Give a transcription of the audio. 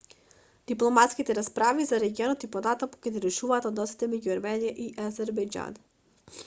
дипломатските расправи за регионот и понатаму ги нарушуваат односите меѓу ерменија и азербејџан